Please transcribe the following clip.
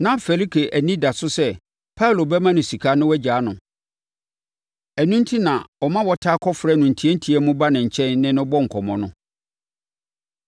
Na Felike ani da so sɛ Paulo bɛma no sika na wagyaa no, ɛno enti, na ɔma wɔtaa kɔfrɛ no ntiantia mu ba ne nkyɛn ne no bɔ nkɔmmɔ no.